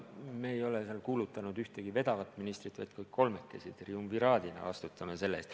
Me ei ole kuulutanud ühtegi ministrit vedavaks, vaid kõik kolmekesi triumviraadina vastutame selle eest.